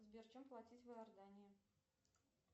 сбер чем платить в иордании